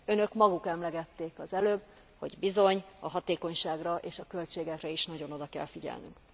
Önök maguk emlegették az előbb, hogy bizony, a hatékonyságra és a költségekre is nagyon oda kell figyelnünk.